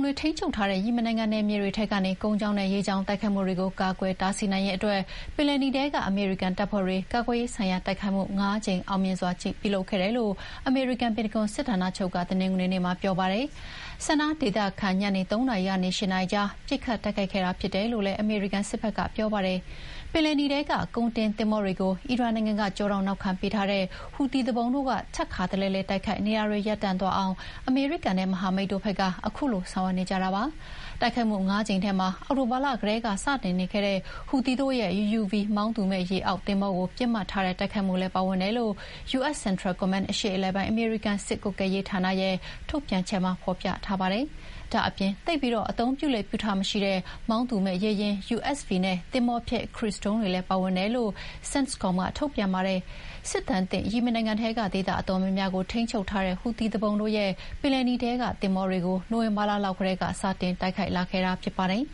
တွေထိန်းချုပ်ထားတဲ့ ယီမင်နိုင်ငံနယ်မြေတွေထဲကနေ ကုန်းကြောင်းနဲ့ ရေကြောင်းကတိုက်ခိုက်မှုတွေကို ကာကွယ်တားဆီးနိုင်ဖို့ ပင်လယ်နီထဲက အမေရိကန်တပ်ဖွဲ့တွေက ကာကွယ်ရေးဆိုင်ရာတိုက်ခိုက်မှု ငါးကြိမ် အောင်မြင်စွာပြုလုပ်ခဲ့တယ်လို့ အမေရိကန် ပင်တဂွန်စစ်ဌာနချုပ်က တနင်္ဂနွေနေ့မှာ ပြောပါတယ်။ Sanna ဒေသစံတော်ချိန် ညနေ ၃ နာရီကနေ ၈ နာရီကြား ပစ်ခတ်တိုက်ခိုက်ခဲ့တာဖြစ်တယ်လို့လည်း အမေရိကန်စစ်ဘက်ကပြောပါတယ်။ ပင်လယ်နီထဲက ကုန်တင်သင်္ဘောတွေကို အီရန်နိုင်ငံက ကျောထောက်နောက်ခံပေးထားတဲ့ ဟူသီတို့ ထပ်ခါတလဲလဲ တိုက်ခိုက်နေတာတွေ ရပ်တန့်သွားအောင် အမေရိကန်နဲ့မဟာမိတ်တို့ဘက်က ခုလိုဆောင်ရွက်နေကြတာပါ။ တိုက်ခိုက်မှုငါးကြိမ်ထဲမှာ အောက်တိုဘာလကတည်းကစတင်ခဲ့တဲ့ ဟူသီတို့ရဲ့ UUV မောင်းသူမဲ့ရေအောက်သင်္ဘောကို ပစ်မှတ်ထားတဲ့ တိုက်ခိုက်မှုလည်း ပါဝင်တယ်လို့ US Central Command အရှေ့အလယ်ပိုင်း အမေရိကန်စစ်ကွပ်ကဲရေးဌာနရဲ့ထုတ်ပြန်ချက်မှာ ဖော်ပြထားပါတယ်။ ဒါ့အပြင် သိပ်အသုံးပြုလေ့မရှိတဲ့ မောင်းသူမဲ့ရေယာဥ် USV နဲ့ သင်္ဘောဖျက် ခရုဇ်ဒုံးတွေလည်းပါဝင်တယ်လို့ CENTCOM က ထုတ်ပြန်ပါတယ်။ စစ်ဒဏ်သင့် ယီမင်နိုင်ငံထဲက ဒေသအတော်များများကို ထိန်းချုပ်ထားတဲ့ ဟူသီသူပုန်တို့ရဲ့ ပင်လယ်နီထဲသင်္ဘောတွေကို နိုဝင်ဘာလောက်က စတင်တိုက်ခိုက်လာခဲ့တာဖြစ်ပါတယ်